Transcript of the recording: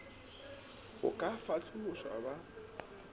go ka fa hlalošo ba